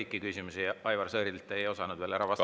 Aga kõiki Aivar Sõerdi küsimusi ei osanud te siiski ära vastata.